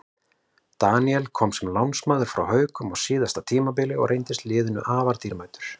Daníel kom sem lánsmaður frá Haukum á síðasta tímabili og reyndist liðinu afar dýrmætur.